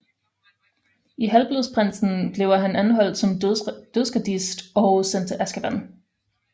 I Halvblodsprinsen bliver han anholdt som Dødsgardist og sendt til Azkaban